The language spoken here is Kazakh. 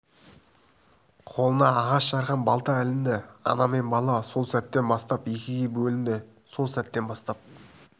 қолына ағаш жарған балта ілінді ана мен бала сол сәттен бастап екіге бөлінді сол сәттен бастап